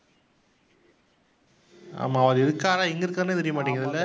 ஆமாம். அவரு இருக்காறா? எங்கே இருக்காருன்னே தெரியமாட்டேங்கிதுல்ல